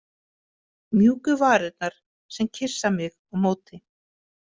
Mjúku varirnar, sem kyssa mig á móti.